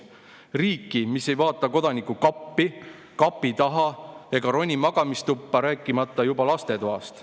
Riiki, mis ei vaata Kodaniku kappi, kapi taha ega roni magamistuppa, rääkimata juba lastetoast.